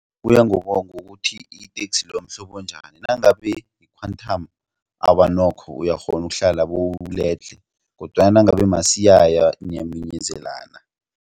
Kuya ngokuthi iteksi leyo mhlobo njani nangabe yi-quantam awa nokho uyakghona ukuhlala bowuledlhe kodwana nangabe masiyaya niyaminyezelana.